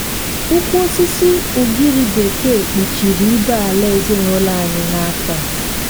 ukwu osisi ugiri bekee kpuchiri ibé-ala ezinụlọ anyị n'afọ a.